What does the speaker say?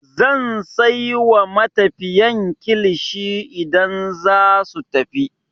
Zan sai wa matafiyan kilishi idan zasu tafi.